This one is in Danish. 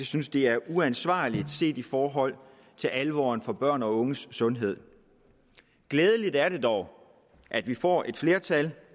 synes det er uansvarligt set i forhold til alvoren for børn og unges sundhed glædeligt er det dog at vi får et flertal